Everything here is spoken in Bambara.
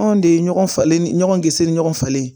Anw de ye ɲɔgɔn falen ɲɔgɔn kisi ni ɲɔgɔn falen ye